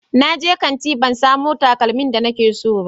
Na je kanti ban samu takalmin da nike so ba